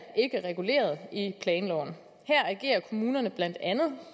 reguleret i planloven her agerer kommunerne blandt andet